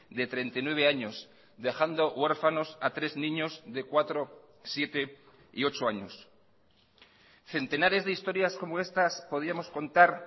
de treinta y nueve años dejando huérfanos a tres niños de cuatro siete y ocho años centenares de historias como estas podíamos contar